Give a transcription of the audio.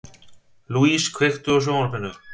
Louise, kveiktu á sjónvarpinu.